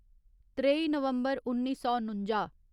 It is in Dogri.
त्रेई नवम्बर उन्नी सौ नुंजा